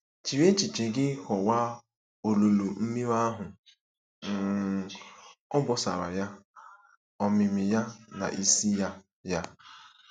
Jiri echiche gị kọwaa olulu mmiri ahụ - um obosara ya, omimi ya na isi ya ya.